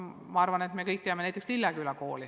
Ma arvan, et me kõik teame näiteks Lilleküla kooli.